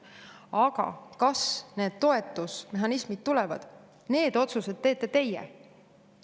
Aga kas need toetusmehhanismid tulevad, need otsused teete teie.